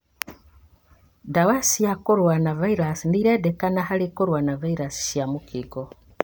Ndawa cia kũrũa na viraci nĩirendekana harĩ kũrũa na vairaci cia mũkingo